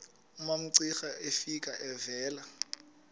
umamcira efika evela